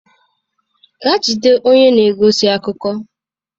Gaa jide onye na-egosi akụkọ.